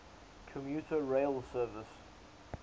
commuter rail service